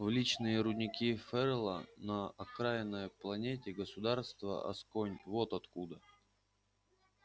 в личные рудники ферла на окраинной планете государства асконь вот куда